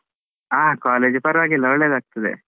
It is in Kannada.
ಹ college ಪರವಾಗಿಲ್ಲ, ಒಳ್ಳೇದಾಗ್ತದೆ.